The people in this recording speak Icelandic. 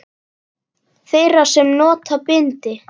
Þeirra sem nota bindi?